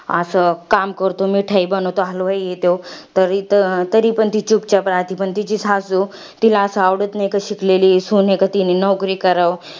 असं काम करतो. मिठाई बनवतो. हलवाई आहे त्यो. तरी तरीपण ती चुपचाप राहते. पण तिची सासू, तिला असं आवड नाही. का शिकलेली सून आहे कि, तिनी नोकरी करावं.